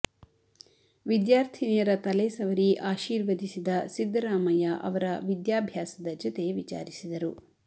ವಿದ್ಯಾರ್ಥಿನಿಯರ ತಲೆ ಸವರಿ ಆಶೀರ್ವದಿಸಿದ ಸಿದ್ದರಾಮಯ್ಯ ಅವರ ವಿದ್ಯಾಭ್ಯಾಸದ ಜತೆ ವಿಚಾರಿಸಿದರು